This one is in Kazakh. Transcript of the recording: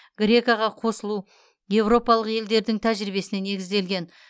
греко ға қосылу еуропалық елдердің тәжірибесіне негізделген